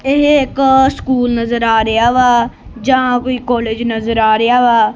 ਇਹ ਇੱਕ ਸਕੂਲ ਨਜ਼ਰ ਆ ਰਿਹਾ ਵਾ ਜਾਂ ਕੋਈ ਕਾਲਜ ਨਜ਼ਰ ਆ ਰਿਹਾ ਵਾ।